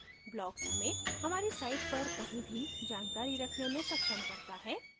blocks हमें हमारी site पर कहीं भी जानकारी रखने में सक्षम करता है